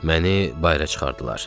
Məni bayıra çıxardılar.